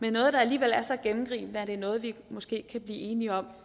er noget der alligevel er så gennemgribende at det er noget vi måske kan blive enige om